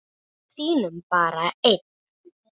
Við sýnum bara ein